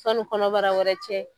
Sanu kɔnɔbara wɛrɛ cɛ